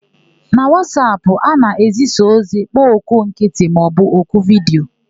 Na Wasapụ, a na-ezisa ozi, kpọọ oku nkịtị maọbụ oku vidiyo.